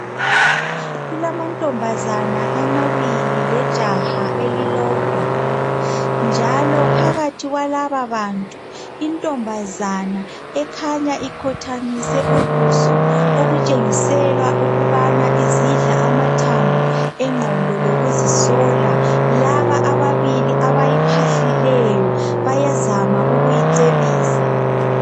Kulamantombazana amabili lejaha elilodwa njalo phakathi kwalababantu intombazana ekhanya ikhothamise ubuso okutshengisela ukubana izidla amathambo engqondo lokuzisola laba ababili abayiphahlileyo bayazama ukumcebisa